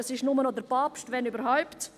Das ist nur noch der Papst, wenn überhaupt.